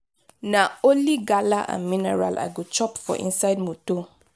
na only gala and mineral i go chop for inside motor.